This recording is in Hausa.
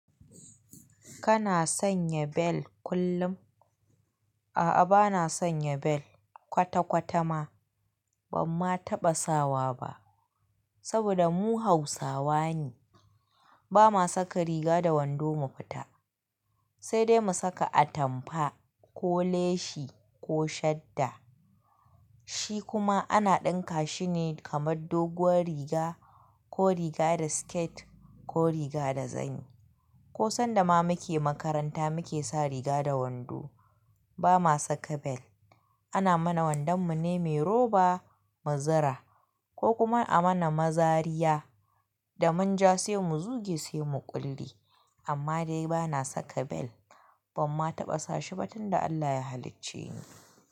Kana sanya bel kullum? A'a bana sanya bel kwata kwata ma, ban ma taɓa sawa ba. Saboda mu Hausawa ne, ba ma saka riga da wando mu fita, sai dai mu saka atampa ko leshi ko shadda. Shi kuma ana ɗinka shi ne kamar doguwar riga ko riga da skirt ko riga da zani. Ko sanda ma muke makaranta muke sa riga da wando. Ba ma saka bel. Ana mana wandon mu ne mai roba, muzira ko kuma a mana mazariya da munja sai mu zuge sai mu ƙulli. Amma dai bana saka bel ban ma taɓa sa shi ba tun da Allah ya halicce ni.